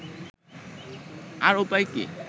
আর উপায় কি